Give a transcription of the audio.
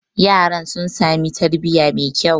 yaran sun sami tarbiyya mai kyau